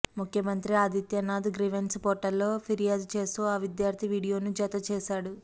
ముఖ్యమంత్రి Adityanath grievance portal లో ఫిర్యాదు చేస్తూ ఆ విద్యార్థి వీడియోను జత చేశాడు